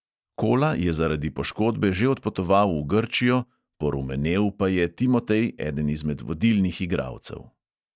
Kola je zaradi poškodbe že odpotoval v grčijo, "porumenel" pa je timotej, eden izmed vodilnih igralcev.